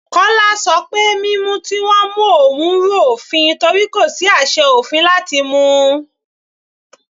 Kọla ṣọ pé mímú tí wọ́n mú òun rú òfin torí kò sí àṣẹ òfin láti mú u.